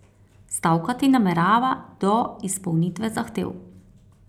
Stavkati namerava do izpolnitve zahtev.